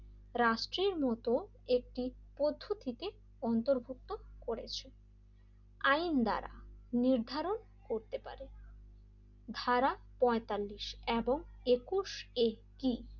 রাষ্ট্রের মত একটি পদ্ধতিতে অন্তর্ভুক্ত করেছে আইন ধরা নির্ধারণ করতে পারে ধারা পইন্তালিস এবং একুশে টি,